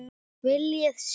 Viljiði sjá!